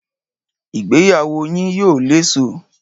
Ìgbéyàwó yín yóò léso